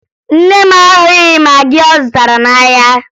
Nne m ahụghị magị ọ zụtara n'ahịa